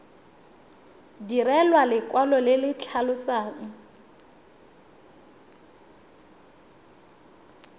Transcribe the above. direlwa lekwalo le le tlhalosang